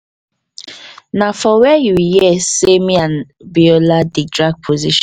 na for where you hear say me and biola dey drag position?